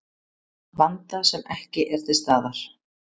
Vanda sem ekki er til staðar